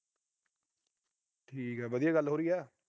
ਠੀਕ ਆ। ਵਧੀਆ ਗੱਲ ਹੋ ਰਹੀ ਆ।